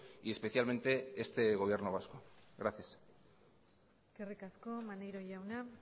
y especialmente este gobierno vasco gracias eskerrik asko maneiro jauna